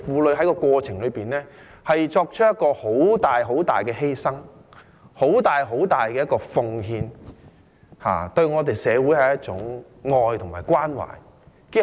在這個過程中，婦女作出很大、很大的犧牲，很大、很大的奉獻，對社會是一種愛和關懷。